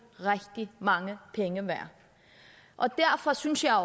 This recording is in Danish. rigtig mange penge værd og derfor synes jeg